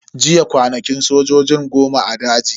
Jiya kwanakin sojojin goma a daji.